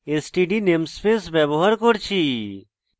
std namespace ব্যবহার করেছি